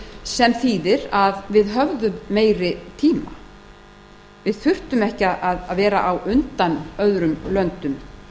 sem þýðir að við höfðum meiri tíma við þurftum ekki að vera á undan öðrum löndum